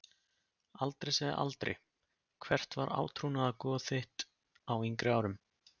Aldrei að segja aldrei Hvert var átrúnaðargoð þitt á yngri árum?